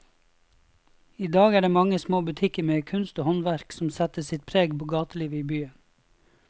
I dag er det de mange små butikkene med kunst og håndverk som setter sitt preg på gatelivet i byen.